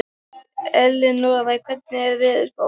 Elínora, hvernig er veðurspáin?